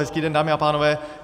Hezký den, dámy a pánové.